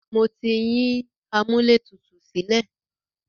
Mo ti yín amúlẹ̀tutù sílẹ̀.